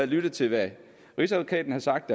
lyttet til hvad rigsadvokaten har sagt